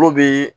Olu bɛ